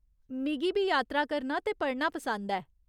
मिगी बी यात्रा करना ते पढ़ना पसंद ऐ।